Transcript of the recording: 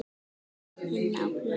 Syngja inná plötu.